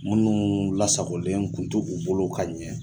Munnu lasagolen kun t'u bolo ka ɲɛ